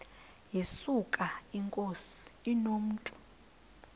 yesuka inkosi inomntu